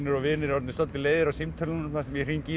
og vinir orðnir svolítið leiðir á símtölunum þar sem ég hringi í